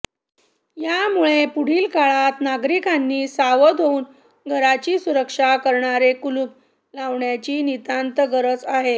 यामुळे पुढील काळात नागरिकांनी सावध होऊन घराची सुरक्षा करणारे कुलूप लावण्याची नितांत गरज आहे